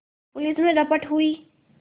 police में रपट हुई